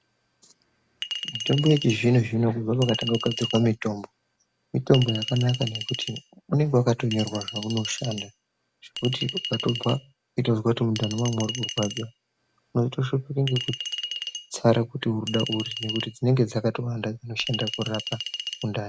Mitombo yechi zvino zvino kubve pakatanga kugadzirwe mitombo, mitombo yakanaka ngekuti unenge wakato nyorwa zvaunoshanda. Zvekuti ukatobva weitozwa kuti mundani mangu muri kurwadza, waito shupika ngekutotsara kuti uri kuda uri ngekuti dzinenge dzakatowanda dzinoshanda kurapa.